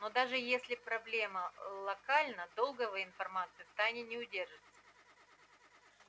но даже если проблема локальна долго вы информацию в тайне не удержите